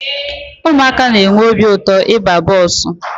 Ụmụaka na-enwe obi ụtọ ịba bọọsụ.